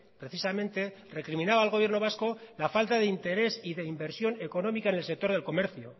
precisamente recriminaba al gobierno vasco la falta de interés y de inversión económica en el sector del comercio